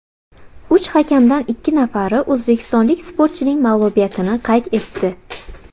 Uch hakamdan ikki nafari o‘zbekistonlik sportchining mag‘lubiyatini qayd etdi.